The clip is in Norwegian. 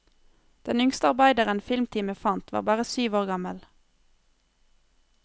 Den yngste arbeideren filmteamet fant, var bare syv år gammel.